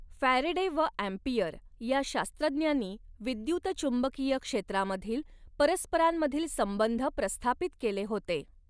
Faraday व Ampere या शास्त्रज्ञांनी विद्युतचुंबकीय क्षेत्रामधील परस्परांमधील संबंध प्रस्थापित केले होते.